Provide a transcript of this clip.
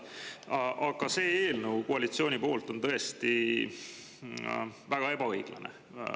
Aga on koalitsiooni poolt tõesti väga ebaõiglane.